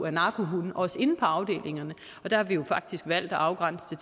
af narkohunde også inde på afdelingerne og der har vi jo faktisk valgt at afgrænse det